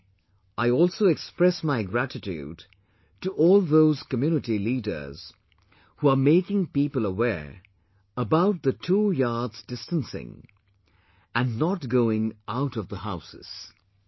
Today, I also express my gratitude to all those community leaders who are making people aware about the two yards distancing and not going out of the houses